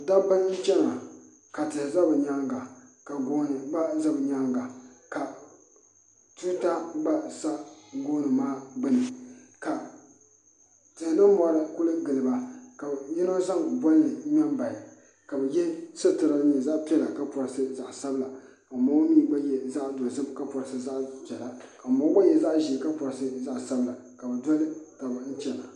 Noba yaga la be kyɛ, a noba yarɛ kpare iri iri mine fɔle la zupil kyɛ mine ba fɔle zupil, mine taa la boma ba naŋ sɛge eŋ daare poɔ ka ba de teɛ saazuŋ, a sɛgere mine waa ziiri kyɛ ka mine waa sɔglɔ kyɛ ka ba de teɛ saazu a are ne.